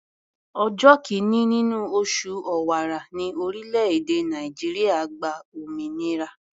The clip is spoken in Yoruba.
Ọjọ́ kìíní nínú oṣù Ọ̀wàrà ní orílẹ̀-èdè Nàìjíríà gba òmìnira.